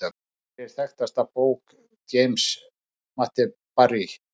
Hver er þekktasta bók James Matthew Barrie?